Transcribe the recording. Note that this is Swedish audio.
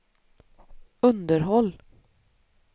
underhåll